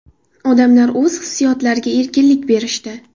Odamlar o‘z hissiyotlariga erkinlik berishdi.